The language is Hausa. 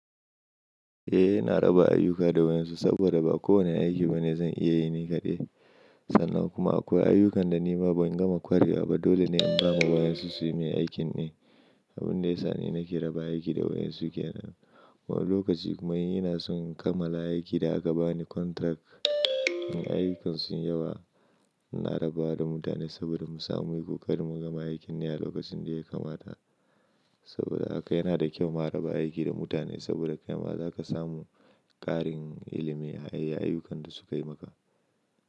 Eh, ina raba ayyuka da wayonsu saboda ba kowane aiki ba ne zan iya yin shi ni kaɗai. Sannan kuma akwai ayyukan da ni ba ban gama ƙwarewa ba. Dole ne in ba wa wayansu su yi mai aikin ne, abun da ya sa ni nake raba aiki da wayansu kenan. Wani lokaci kuma in ina son kammala aikin da aka bani contract. In ayyukan sun yi yawa, ina raba wa da mutane saboda mu samu mu yi ƙoƙari mu gama aikin ne a lokacin da ya kamata. Saboda haka yana da kyau mu raba aiki da mutane saboda kai ma za ka samu ƙarin ilimi a yayin ayyukan da su kai maka.